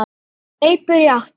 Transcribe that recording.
Hleypur í áttina að sjónum.